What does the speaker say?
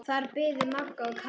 Þar biðu Magga og Kata.